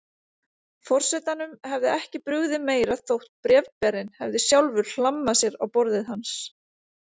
Forsetanum hefði ekki brugðið meira þótt bréfberinn hefði sjálfur hlammað sér á borðið hans.